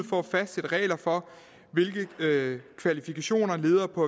for at fastsætte regler for hvilke kvalifikationer ledere på